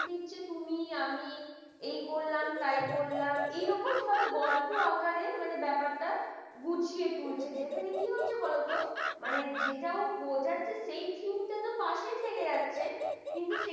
হচ্ছে তুমিই আমি এ করলাম তাই করলাম এরকম ভাবে গল্প আকারের মানে ব্যাপারটা গুছিয়ে তুলছি যেখানে কি কি হচ্ছে বলতো মানে যেটা বোঝাচ্ছে সে theme টা তোর পাশে থেকে যাচ্ছে কিন্তু সে